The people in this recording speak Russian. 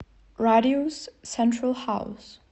радиус сентрал хаус